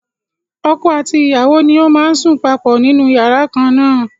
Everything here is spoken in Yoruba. Ọkọ àti ìyàwó ni ó máa ń sùn papọ̀ nínú yàrá kan na.